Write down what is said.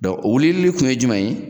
o wulilli tun ye jumɛn ye